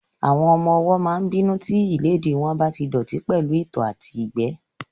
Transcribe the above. Àwọn ọmọ-ọwọ́ máa n bínú tí ìléèdí wọn bá tí dọ̀ọ̀tí pẹ̀lú ìtọ̀ àti ìgbẹ́